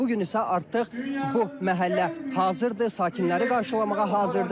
Bu gün isə artıq bu məhəllə hazırdır, sakinləri qarşılamağa hazırdır.